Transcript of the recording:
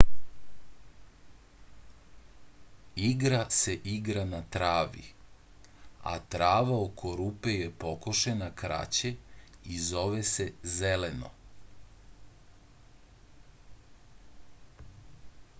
igra se igra na travi a trava oko rupe je pokošena kraće i zove se zeleno